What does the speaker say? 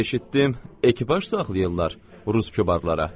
Eşitdim ekipaj saxlayırlar rus kübarlara.